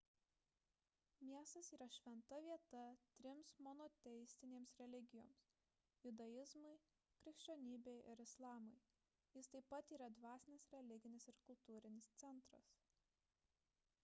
miestas yra šventa vieta trims monoteistinėms religijoms – judaizmui krikščionybei ir islamui jis taip pat yra dvasinis religinis ir kultūrinis centras